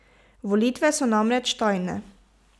Volitve so namreč tajne.